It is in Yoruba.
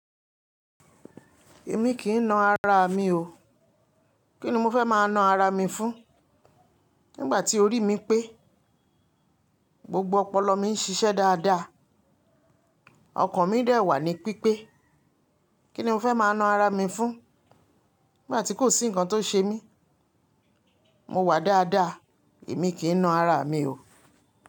Èmi kì í na ara mi o. Kí ni mo fẹ́ máa na ara mi fún? Nígbà tí ori mi pé, gbogbo ọpọlọ mi ń ṣiṣẹ́ dáadáa, ọkàn mi dẹ̀ wà ní pípé. Kí ni mo fẹ́ máa na ara mi fún? Nígbà tí kò sí nǹkan tó ṣe mí, mo wà dáadáa, èmi kì í na ara mi o.